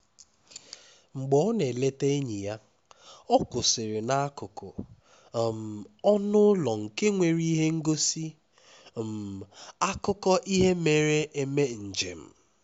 ihe omume ihe omume omenala gụnyere ihe ngosi mmekọrịta na omenala obodo ndị nna ochie